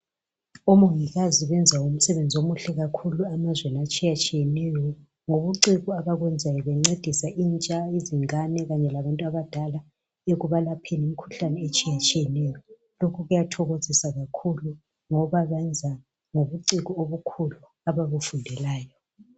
omongikazi benza umsebenzi omuhle kakhulu emazweni atshiyatshiyaneyo ngobuciko abenzayo bencedisa intsha izingane kanye labantu abadala ekubalapheni imkhuhlane etshiyatshiyeneyo lokhu kuyathokozisa ngoba bakwenza ngobuciko obukhulu ababufundelayo